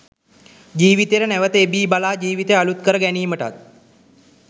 ජීවිතයට නැවත එබී බලා ජීවිතය අලුත් කර ගැනීමටත්